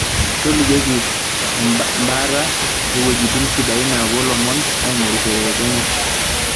tolikioki embata oowuejitin sidain napuo lomon aingorisho te Kenya